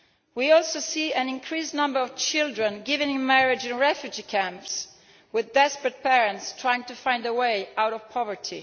We also see an increased number of children being given in marriage in refugee camps, as desperate parents try to find a way out of poverty.